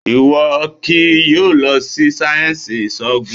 Ìwọ kì í yóò lọ sí sáyẹnsì ìsòògùn!